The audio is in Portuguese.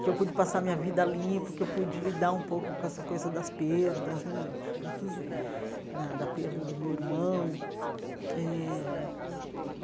que eu pude passar minha vida a limpo, que eu pude lidar um pouco com essa coisa das perdas né, sobretudo da da perda do meu irmão eh.